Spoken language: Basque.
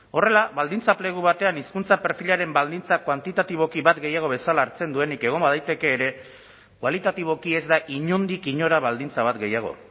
horrela baldintza plegu batean hizkuntza perfilaren baldintzak kuantitatiboki bat gehiago bezala hartzen duenik egon badaiteke ere kualitatiboki ez da inondik inora baldintza bat gehiago